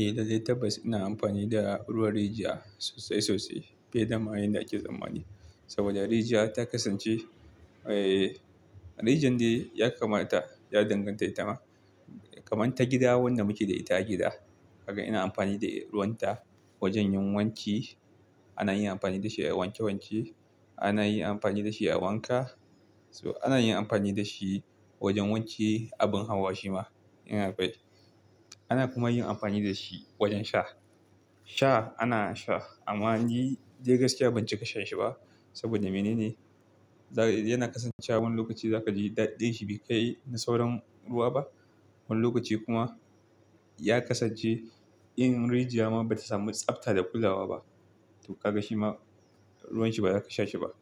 Eh, lallai tabbas ina amfani da ruwan rijiya sosai sosai, fiye dama yanda ake tsammani saboda rijiya ta kasance, eh, rijiyar dai ya kamata ya danganta, kaman ta gida wanda muke da ita gida. Kaga ina amfani da ruwan ta wajen yin wanki, ana yin amfani da shi a wanke wanke, ana yin amfani da shi a wanka. So ana yin amfani da shi wajen wanke abin hawa shi ma, ina faɗi. Ana kuma yin amfani da shi wajen sha. Sha ana sha amma ni dai gaskiya ban cika shan shi ba saboda mene ne? Yana kasancewa wani lokaci za ka ji daɗinshi bai kai na sauran ruwa ba. Wani lokaci kuma ya kasance in rijiya ma bata samu tsafta da kulawa ba to ka ga shi ma ruwan shi ba za ka sha shi ba.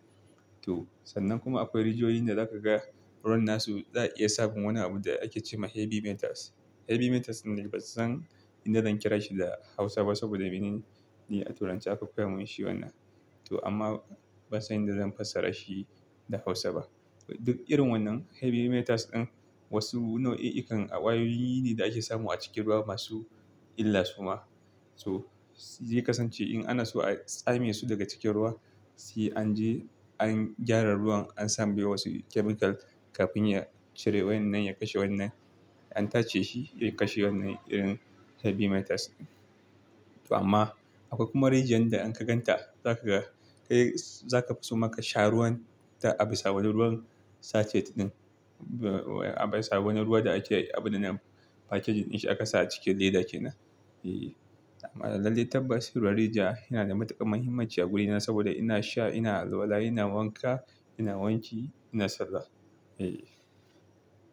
To sannan kuma akwai rijiyoyin da za ka ga ruwan nasu za a iya samun wani abu da ake ce ma heavy metals. Heavy metals nan dai bazan inda zan kira shi da Hausa ba saboda mene ne? Ni a turanci aka koyamin shi wannan. To amma bazan inda zan fassara shi da Hausa ba. Duk irin wannan heavy metals ɗin wasu nau'i ikan ƙwayoyi ne da ake samu a cikin ruwa masu illa su ma. To zai kasance in ana so a tsame su daga cikin ruwa, sai an je an gyara ruwan an sambe wasu chemical kafin ya cire wannan ya kashe wannan. An tace shi ya kashe wannan irin heavy metals ɗin. To amma akwai kuma rijiyar da in ka gan ta za ka ga kai za ka fi so ma kasha ruwan ta a bisa wani ruwan sachet ɗin. A bisa wani ruwa da ake abin da na packaging in shi aka saka a cikin leda kenan. E, amma lallai tabbas ruwan rijiya yana da matuƙar muhimmanci a wurina saboda ina sha, ina alwala, ina wanka, ina wanki, ina sallah. E.